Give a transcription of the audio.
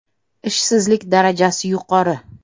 Ishsizlik darajasi yuqori.